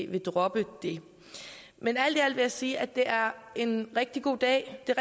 vil droppe det men alt i alt vil jeg sige at det er en rigtig god dag det er